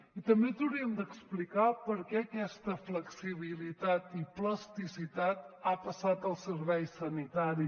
i també ens haurien d’explicar per què aquesta flexibilitat i plasticitat ha passat al servei sanitari